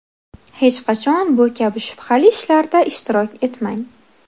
Hech qachon bu kabi shubhali ishlarda ishtirok etmang.